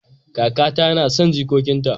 Kakata nason jikokin ta